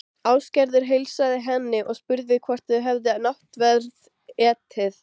Ásgerður heilsaði henni og spurði hvort þau hefði náttverð etið.